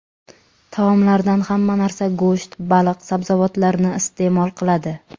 Taomlardan hamma narsa go‘sht, baliq, sabzavotlarni iste’mol qiladi.